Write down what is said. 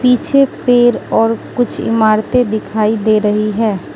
पीछे पेड़ और कुछ इमारतें दिखाई दे रही है।